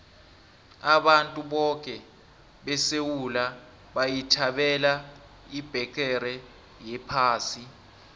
abantu boke besewula bayithabela ibheqere yephasi